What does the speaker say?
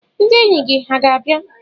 ndị enyi gị hà ga-abịa?